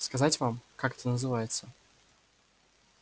сказать вам как это называется